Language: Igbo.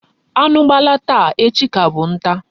Anu gbala taa, echi bu ka bu nta